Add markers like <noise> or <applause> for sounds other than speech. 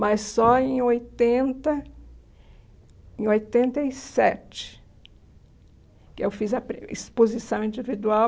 Mas só em oitenta em oitenta e sete que eu fiz a <unintelligible> exposição individual.